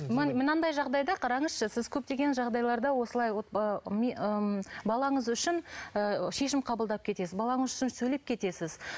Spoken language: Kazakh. мынадай жағдайда қараңызшы сіз көптеген жағдайларда осылай балаңыз үшін ыыы шешім қабылдап кетесіз балаңыз үшін сөйлеп кетесіз